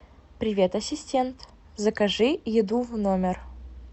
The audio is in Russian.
привет ассистент закажи еду в номер